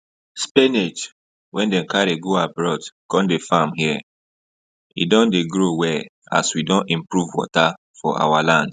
spinach wey dem carry go abroad come dey farm here e don dey grow well as we don improve water for our land